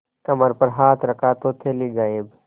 कमर पर हाथ रखा तो थैली गायब